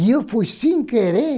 E eu fui sem querer.